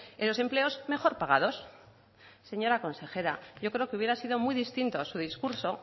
en los empleos mejor pagados señora consejera yo creo que hubiera sido muy distinto su discurso